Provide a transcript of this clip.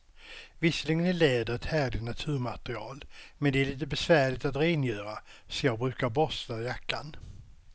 Visserligen är läder ett härligt naturmaterial, men det är lite besvärligt att rengöra, så jag brukar borsta jackan.